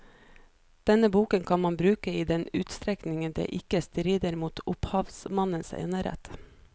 Denne boken kan man bruke i den utstrekning det ikke strider mot opphavsmannens enerett.